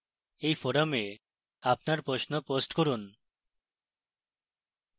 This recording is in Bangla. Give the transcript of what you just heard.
এই forum আপনার প্রশ্ন post করুন